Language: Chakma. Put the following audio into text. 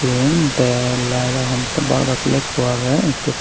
eyan de laeley homottey bar bar plagekko aagey ikko.